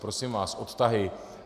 Prosím vás, odtahy.